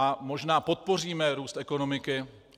A možná podpoříme růst ekonomiky.